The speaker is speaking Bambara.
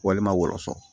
Walima wɔlɔsɔ